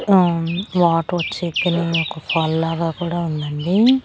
ఉమ్ water వచ్చే కెనాల్లా యొక్క ఫాల్ లాగా కూడా ఉందండి.